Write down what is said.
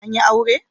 An yi aure?